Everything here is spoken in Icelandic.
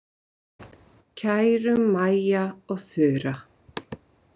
Kæru Maja og Þura.